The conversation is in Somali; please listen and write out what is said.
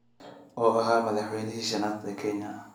oo ahaa madaxweynihii shanaad ee Kenya